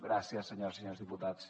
gràcies senyores i senyors diputats